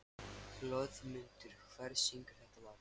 Hlöðmundur, hver syngur þetta lag?